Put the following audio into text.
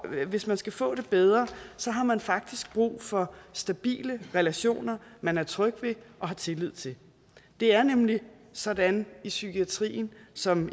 at hvis man skal få det bedre har man faktisk brug for stabile relationer man er tryg ved og har tillid til det er nemlig sådan i psykiatrien som